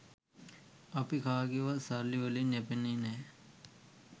අපි කාගේවත් සල්ලි වලින් යැපෙන්නේ නෑ.